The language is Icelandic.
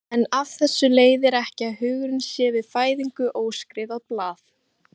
En af þessu leiðir ekki að hugurinn sé við fæðingu óskrifað blað.